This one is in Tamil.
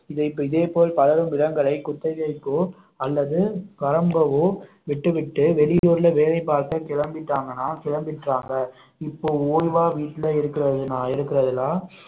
இதே இதே போல் பலரும் நிலங்களை குத்தகைக்கோ அல்லது வரம்பவோ விட்டுவிட்டு வெளியூர்ல வேலை பார்க்க கிளம்பிட்டாங்கன்னா கிளம்பிட்டாங்க இப்போ ஓய்வா வீட்டில இருக்கிறது இருக்கிறதெல்லாம்